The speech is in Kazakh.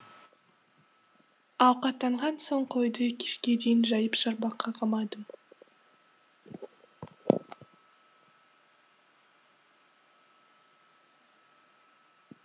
ауқаттанған соң қойды кешке дейін жайып шарбаққа қамадым